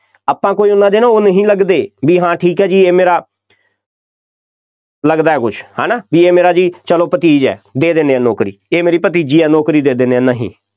ਆਪਾਂ ਕੋਈ ਉਹਨਾ ਦੇ ਨਾ ਉਹ ਨਹੀਂ ਲੱਗਦੇ, ਬਈ ਹਾਂ ਠੀਕ ਹੈ ਜੀ ਇਹ ਮੇਰਾ ਲੱਗਦਾ ਕੁੱਝ, ਹੈ ਨਾ, ਬਈ ਇਹ ਮੇਰਾ ਜੀ ਚੱਲੋ ਭਤੀਜ ਹੈ, ਦੇ ਦਿੰਦੇ ਹਾਂ ਨੌਕਰੀ, ਇਹ ਮੇਰੀ ਭਤੀਜੀ ਹੈ ਨੌਕਰੀ ਦਿੰਦੇ ਹਾਂ, ਨਹੀਂ,